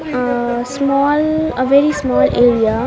ah small very small area .